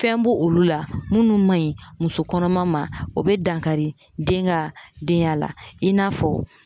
Fɛn bo olu la munnu ma ɲi muso kɔnɔma ma o bɛ dankari den ka denya la i n'a fɔ